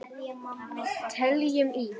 Teljum í!